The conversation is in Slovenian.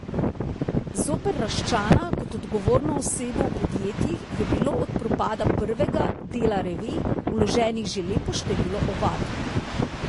Zoper Raščana kot odgovorno osebo v podjetjih je bilo od propada prvega, Dela revij, vloženih že lepo število ovadb.